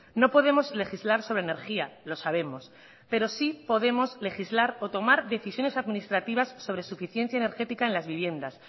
no podemos legislar sobre energía lo sabemos pero sí podemos legislar o tomar decisiones administrativas sobre suficiencia energética en las viviendas